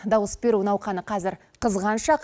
дауыс беру науқаны қазір қызған шақ